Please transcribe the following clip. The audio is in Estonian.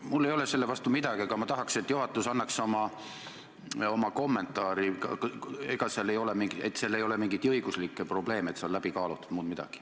Mul ei ole selle vastu midagi, aga ma tahaks, et juhatus annaks oma kommentaari, et ei ole mingeid õiguslikke probleeme ja see on läbi kaalutud, muud midagi.